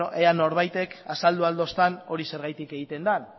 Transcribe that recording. ea norbaitek azaldu ahal dostan hori zergatik egiten den